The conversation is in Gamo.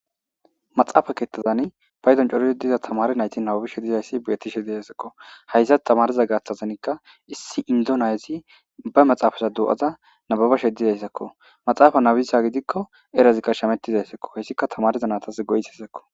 maxappe keththazani payddon coridi diiza tamare nayti nababishe dizayssi betishshe de'essikko hayssa tamariza gaththazanikka issi indoo nayezii ba maxaafeza do'adda nababashe dizayssakko maxaafa nabisyagidikko erazikka shamettizayssakko hayssikka tamareza natas goyisessakko